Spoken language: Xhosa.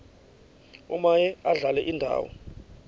omaye adlale indawo